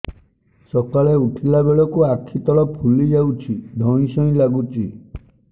ସକାଳେ ଉଠିଲା ବେଳକୁ ଆଖି ତଳ ଫୁଲି ଯାଉଛି ଧଇଁ ସଇଁ ଲାଗୁଚି